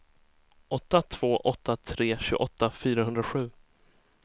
åtta två åtta tre tjugoåtta fyrahundrasju